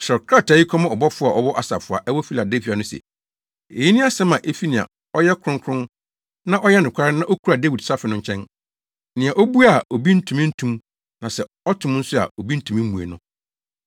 “Kyerɛw krataa yi kɔma ɔbɔfo a ɔwɔ asafo a ɛwɔ Filadelfia no se: Eyi ne asɛm a efi nea ɔyɛ kronkron na ɔyɛ nokware na okura Dawid safe no nkyɛn. Nea obue a, obi ntumi nto mu na sɛ ɔto mu nso a, obi ntumi mmue no.